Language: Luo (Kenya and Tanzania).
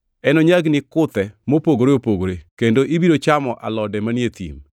Enonyagni kit kuthe mopogore opogore kendo ibiro chamo alode manie thim.